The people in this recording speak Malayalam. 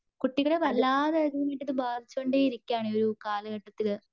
കുട്ടികളെ ഇത് വല്ലാതെ ബാധിച്ചുകൊണ്ടിരിക്കുവാണ് ഈ ഒരു കാലഘട്ടത്തിൽ.